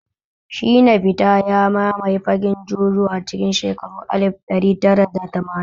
Shina Pita ya mamaye fagen Juju a cikin shekaru alif ɗari tara da tamanin